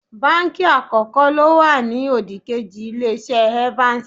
Báǹkì àkọ́kọ́ ló wà ní òdìkejì Ilé-iṣẹ́ Evans